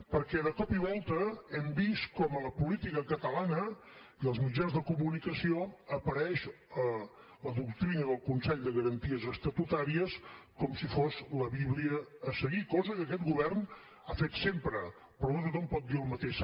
perquè de cop i volta hem vist com a la política catalana i als mitjans de comunicació apareix la doctrina del consell de garanties estatutàries com si fos la bíblia a seguir cosa que aquest govern ha fet sempre però no tothom dir el mateix